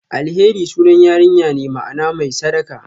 Alheri sunan yarinya ne, ma'ana "mai sadaka".